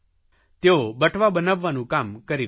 તેઓ બટવા બનાવવાનું કામ કરી રહ્યાં છે